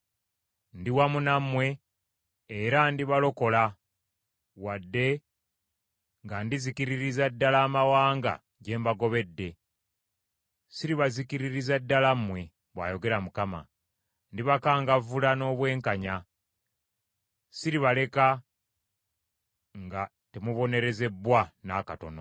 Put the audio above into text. Ndi wamu nammwe era ndibalokola, wadde nga ndizikiririza ddala amawanga gye mbagobedde, siribazikiririza ddala mmwe,’ bw’ayogera Mukama . Ndibakangavvula n’obwenkanya, siribaleka nga temubonerezebbwa n’akatono.